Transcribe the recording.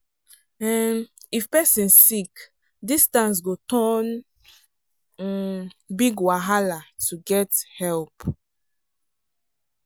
um if person sick distance go turn um big wahala to get help.